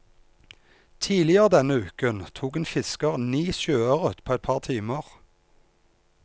Tidligere denne uken tok en fisker ni sjøørret på et par timer.